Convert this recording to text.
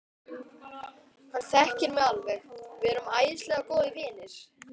Hann þekkir mig alveg, við erum æðislega góðir vinir.